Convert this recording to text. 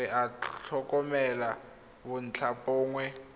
re a tlhokomela re bontlhabongwe